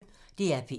DR P1